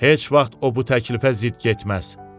Heç vaxt o bu təklifə zidd getməz.